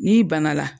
N'i bana la